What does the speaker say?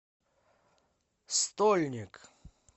стольник